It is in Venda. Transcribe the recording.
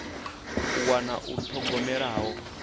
u wana u thogomelwa ho